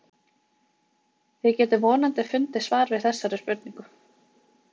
Þið getið vonandi fundið svar við þessari spurningu.